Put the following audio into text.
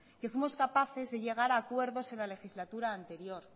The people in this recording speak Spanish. que fuimos capaces de llegar acuerdos en la legislatura anterior